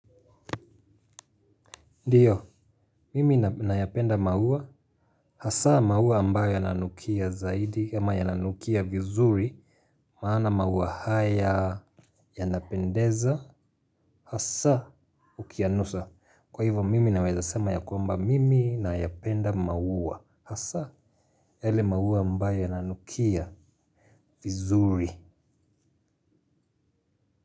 Ndiyo, mimi nayapenda maua, hasa maua ambayo yananukia zaidi ama yananukia vizuri. Maana maua haya yanapendeza, hasa ukiyanusa. Kwa hivo mimi naweza sema ya kwamba mimi nayapenda maua, hasa yale maua ambayo yananukia vizuri.